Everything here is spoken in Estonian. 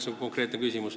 See on konkreetne küsimus.